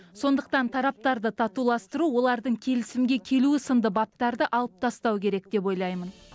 сондықтан тараптарды татуластыру олардың келісімге келуі сынды баптарды алып тастау керек деп ойлаймын